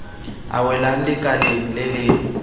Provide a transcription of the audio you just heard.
a welang lekaleng le le